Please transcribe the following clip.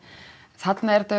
þarna er þetta